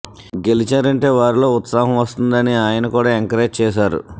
గెలిచారంటే వారిలో ఉత్సాహం వస్తుంది అని ఆయన కూడా ఎంకరేజ్ చేశారు